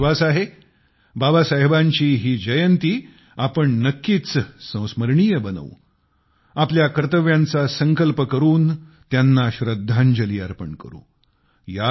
मला विश्वास आहे बाबासाहेबांची ही जन्म जयंती आपण नक्कीच संस्मरणीय बनवू आपल्या कर्तव्यांचा संकल्प करून त्यांना श्रद्धांजली अर्पण करू